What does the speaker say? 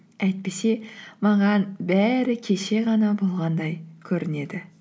әйтпесе маған бәрі кеше ғана болғандай көрінеді